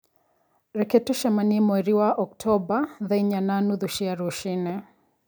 Reke tũcemanie mweri wa Oktomba thaa inya na nuthu cia rũcinĩ